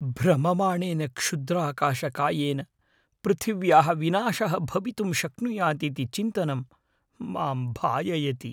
भ्रममाणेन क्षुद्राकाशकायेन पृथिव्याः विनाशः भवितुं शक्नुयात् इति चिन्तनं मां भाययति।